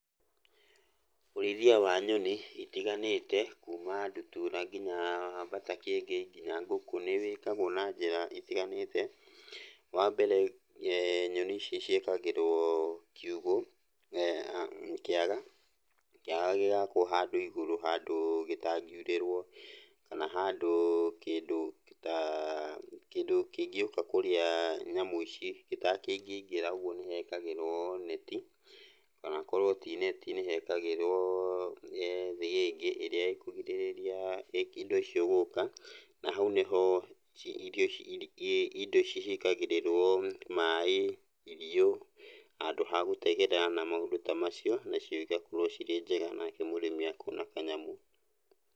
Ũrĩithia wa nyoni itiganĩte, kuma ndutura, kinya mbata kĩengei, kinya ngũkũ, nĩwĩkagwo na njĩra itiganĩte. Wambere nyoni ici ciakagĩrwo kiugũ, a kĩaga. Kĩaga gĩgakwo handũ igũrũ handũ gĩtangĩurĩrwo kana handũ kĩndũ ta, kĩndũ kĩngĩũka kũrĩa nyamũ ici gĩtangĩkĩingĩra, ũguo nĩhekagĩrwo neti, kana akorwo ti neti nĩhekagĩrwo thĩgĩngĩ ĩrĩa ĩkũgirĩrĩria indo icio gũka, na hau nĩho irio ingĩ indo ici ciĩkagĩrĩrwo maĩ, irio, handũ ha gũtegera na maũndũ ta macio, nacio igakorwo cirĩ njega nake mũrĩmi akona kanyamũ.